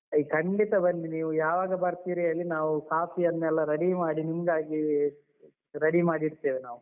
ಖಂಡಿತ ಬನ್ನಿ ನೀವು ಯಾವಾಗ ಬರ್ತಿರಿ ಹೇಳಿ ನಾವು ಕಾಫೀಯನ್ನೆಲ್ಲ ready ಮಾಡಿ ನಿಮ್ಗಾಗಿ ready ಮಾಡಿ ಇಡ್ತೇವೆ ನಾವು.